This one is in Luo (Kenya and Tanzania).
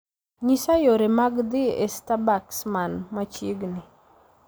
nyisa yore mag dhi e starbucks man machiegni